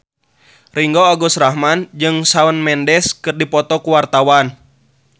Ringgo Agus Rahman jeung Shawn Mendes keur dipoto ku wartawan